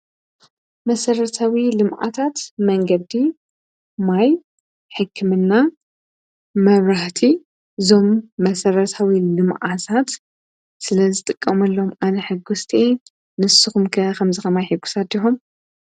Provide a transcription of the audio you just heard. መሠረታዊ ልምዓታት መንገዲ ፣ማይ፣ ሕክምና ፣መብራህቲ እዞም መሠረታዊ ልምዓታት ስለ ዝጥቀመሎም ኣነ ሕጐስቲ እየ፡፡ ንስኹም ከ ኸምዚ ከማይ ሕጉሳት ዲኹም?